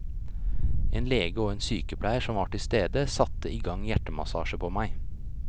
En lege og en sykepleier som var til stede, satte i gang hjertemassasje på meg.